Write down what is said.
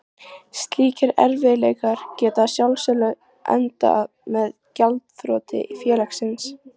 Slíkir erfiðleikar geta að sjálfsögðu endað með gjaldþroti félagsins.